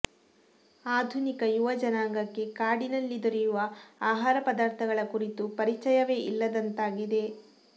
ಆಧುನಿಕ ಯುವ ಜನಾಂಗಕ್ಕೆ ಕಾಡಿನಲ್ಲಿ ದೊರೆಯುವ ಆಹಾರ ಪದಾರ್ಥಗಳ ಕುರಿತು ಪರಿಚಯವೇ ಇಲ್ಲದಂತಾಗಿದೆ